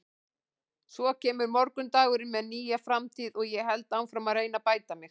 Svo kemur morgundagurinn með nýja framtíð og ég held áfram að reyna að bæta mig.